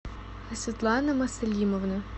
светлана маслимовна